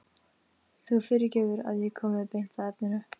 Þú fyrirgefur að ég komi beint að efninu.